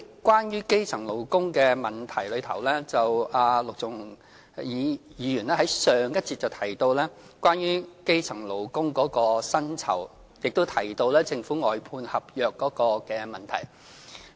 關於基層勞工的問題，陸頌雄議員在上一節提到基層勞工的薪酬，亦提到政府外判合約的問題。